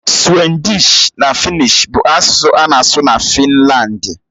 Suwịdịsh na Fịnnịsh bụ asụsụ a na-asụ na Finlandi.